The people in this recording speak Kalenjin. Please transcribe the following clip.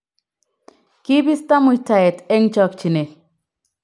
kibisto muitaet eng chokchinee